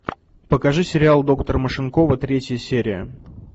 покажи сериал доктор машинкова третья серия